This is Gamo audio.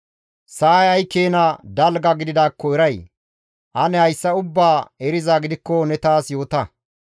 Sa7ay ay keena dalga gididaakko ne eray? Ane hayssa ubbaa erizaa gidikko ne taas yoota.